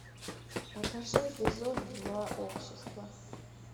покажи эпизод два общество